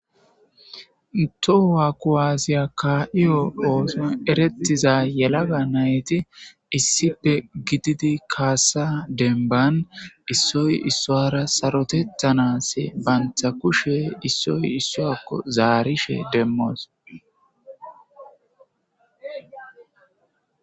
Towa ku aasiya ka'iyo ooson erettiza yelaga nayti issipe gididi kaassa demban issoy issoara sarotetthanase bantha kushe issoy issoyakko zaarishe demmos.